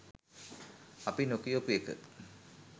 අපි නොකියපු එක.